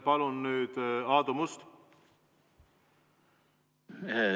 Palun nüüd Aadu Must!